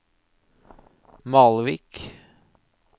Malvik